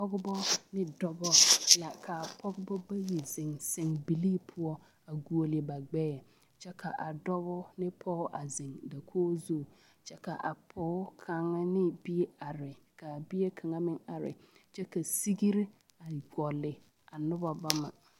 pɔgebɔ ne dɔbɔ la ka pɔgebɔ bayi zeŋ sɛmbilii poɔ a goɔle ba ŋmɛɛ kyɛ ka a dɔbɔ ane pɔge a zeŋ dakogi zu kyɛ ka a pɔge kaŋa ne bie are ka a bie kaŋa meŋ are kyɛ ka segre a gɔle a noba bama.